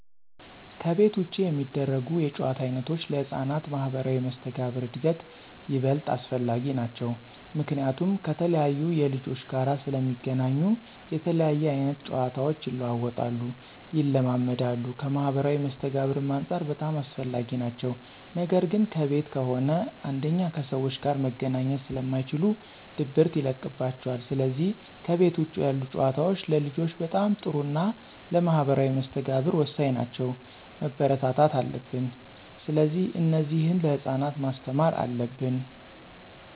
ከቤት ውጭ የሚደረጉ የጨዋታ ዓይነቶች ለሕፃናት ማኅበራዊ መስተጋብር እድገት ይበልጥ አስፈላጊ ናቸዉ። ምክንያቱም ከተለያየ ልጆች ጋር ስለሚገናኙ የተለያየ አይነት ጨዋታቸው ይለዋወጣሉ፣ ይለማመዳሉ ከማህበራዊ መስተጋብርም አንፃር በጣም አስፈላጊ ናቸው ነገር ግን ከቤት ከሆነ አንደኛ ከሰዎች ጋር መገናኘት ስለማይችሉ ድብርት ይለቅባቸዋል ስለዚህ ከቤት ውጭ ያሉ ጨዋታዎች ለልጆች በጣም ጥሩና ለማህበራዊ መስተጋብር ወሳኝ ናቸው፣ መበረታታት አለብን። ስለዚህ እነዚህን ለህፃናት ማስተማር አለብን።